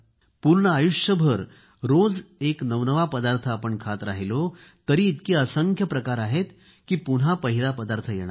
पूर्ण आयुष्यभर रोज एक नवनवा पदार्थ आपण खात राहिलो तरी इतके असंख्य प्रकार आहेत की पुन्हा पहिला पदार्थ येणार नाही